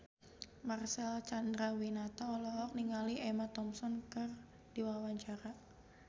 Marcel Chandrawinata olohok ningali Emma Thompson keur diwawancara